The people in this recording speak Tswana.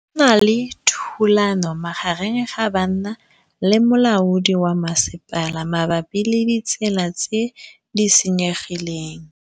Go na le thulanô magareng ga banna le molaodi wa masepala mabapi le ditsela tse di senyegileng.